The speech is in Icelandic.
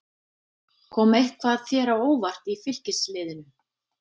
Kom eitthvað þér á óvart í Fylkisliðinu?